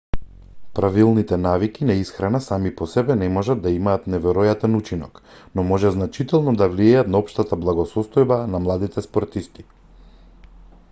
правилните навики на исхрана сами по себе не може да имаат неверојатен учинок но може значително да влијаат на општата благосостојба на младите спортисти